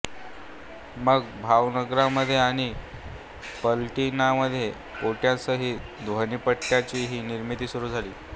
मग भावनगरमध्ये आणि पालिटाणामध्ये पेट्यांसहित ध्वनिपट्ट्यांचीही निर्मिती सुरू झाली